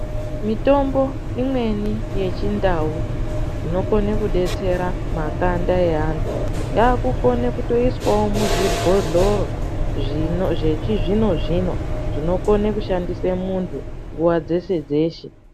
mitombo imweni yechindau inokone kudetsera makanda eantu yaakukone kutoiswewo muzvibhlotoro zvechizvino-zvino zvinokone kushandise muntu nguva dzeshe-dzeshe.